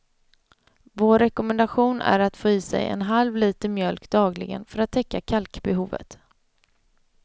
Vår rekommendation är att få i sig en halv liter mjölk dagligen för att täcka kalkbehovet.